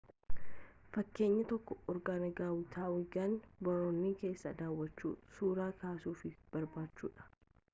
fakeenyi tokko orgaangaatuwaangi boorniwoo keessaa daawachuu suraa kaasuu fi barachuudha